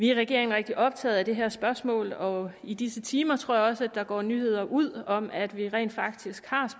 i regeringen rigtig optaget af det her spørgsmål og i disse timer tror jeg også at der går nyheder ud om at vi rent faktisk har